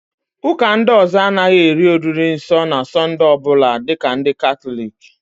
Ụ́kà ndị ọzọ a naghị eri oriri nsọ na Sọnde ọbụla dịka ndị Katọliki